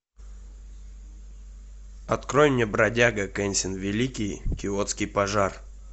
открой мне бродяга кэнсин великий киотский пожар